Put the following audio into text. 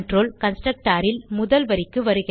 constructor ல் முதல் வரிக்கு வருகிறது